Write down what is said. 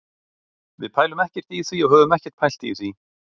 Við pælum ekkert í því og höfum ekkert pælt í því.